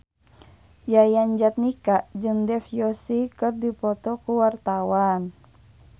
Yayan Jatnika jeung Dev Joshi keur dipoto ku wartawan